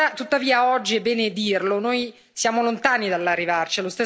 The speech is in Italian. Tuttavia, oggi, è bene dirlo, noi siamo lontani dall'arrivarci.